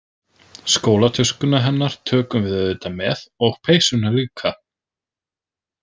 Skólatöskuna hennar tökum við auðvitað með og peysuna líka.